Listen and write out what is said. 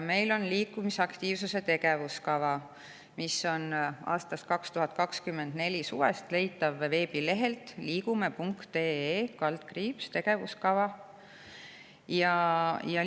Meil on liikumisaktiivsuse tegevuskava, mis on 2024. aasta suvest leitav veebi liigume.ee/tegevuskava/.